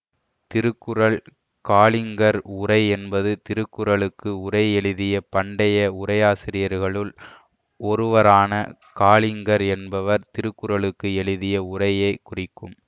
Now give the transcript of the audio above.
திருக்குறள் காலிங்கர் உரை என்பது திருக்குறளுக்கு உரை எழுதிய பண்டைய உரையாசிரியர்களுள் ஒருவரான காலிங்கர் என்பவர் திருக்குறளுக்கு எழுதிய உரையை குறிக்கும்